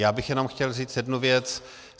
Já bych jenom chtěl říct jednu věc.